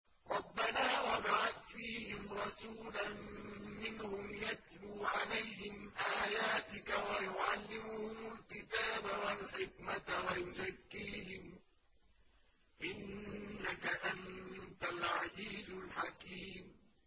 رَبَّنَا وَابْعَثْ فِيهِمْ رَسُولًا مِّنْهُمْ يَتْلُو عَلَيْهِمْ آيَاتِكَ وَيُعَلِّمُهُمُ الْكِتَابَ وَالْحِكْمَةَ وَيُزَكِّيهِمْ ۚ إِنَّكَ أَنتَ الْعَزِيزُ الْحَكِيمُ